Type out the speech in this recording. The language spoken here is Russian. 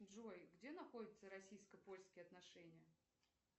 джой где находятся российско польские отношения